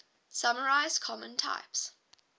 summarize common types